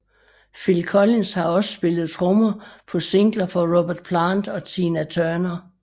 Phil Collins har også spillet trommer på singler for Robert Plant og Tina Turner